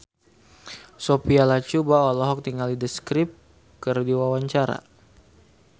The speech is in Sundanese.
Sophia Latjuba olohok ningali The Script keur diwawancara